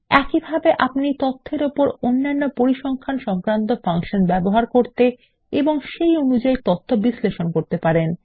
একইভাবে আপনি তথ্যর ওপর অন্যান্য পরিসংখ্যান সংক্রান্ত ফাংশন ব্যবহার করতে এবং সেই অনুযায়ী তাদের বিশ্লেষণ করতে পারেন